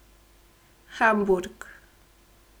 Hamburg.